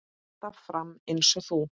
Alltaf fram eins og þú.